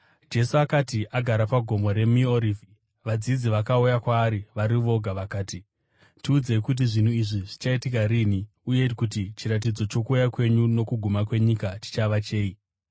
Jesu akati agara paGomo reMiorivhi, vadzidzi vakauya kwaari vari voga vakati, “Tiudzei kuti zvinhu izvi zvichaitika rini, uye kuti chiratidzo chokuuya kwenyu nokuguma kwenyika chichava chei?”